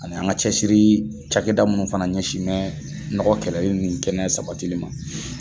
Ani an ga cɛsiriri cakɛda munnu fana ɲɛsin bɛ nɔgɔ kɛlɛli nin kɛnɛ sabatili ma.